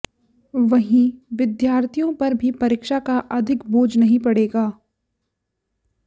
वहीं विद्यार्थियों पर भी परीक्षा का अधिक बोझ नहीं पड़ेगा